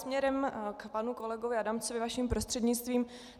Směrem k panu kolegovi Adamcovi, vaším prostřednictvím.